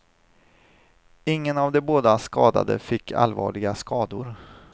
Ingen av de båda skadade fick allvarliga skador.